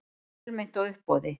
Fjölmennt á uppboði